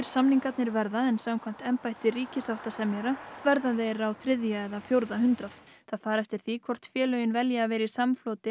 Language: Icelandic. samningarnir verða en samkvæmt embætti ríkissáttasemjara verða þeir á þriðja eða fjórða hundrað það fer eftir því hvort félögin velji að vera í samfloti